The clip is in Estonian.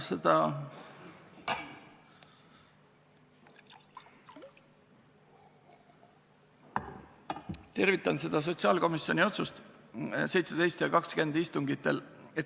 Ma tervitan sotsiaalkomisjoni otsuseid, mis tehti 17. ja 20. veebruari istungitel.